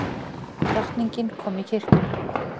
Drottning komin í kirkjuna